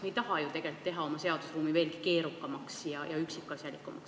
Me ei taha ju tegelikult teha oma seadusi veel keerukamaks ja üksikasjalikumaks.